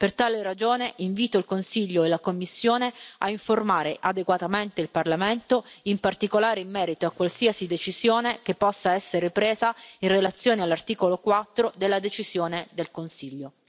Per tale ragione, invito il Consiglio e la Commissione a informare adeguatamente il Parlamento, in particolare in merito a qualsiasi decisione che possa essere presa in relazione all'articolo 4 della decisione del Consiglio.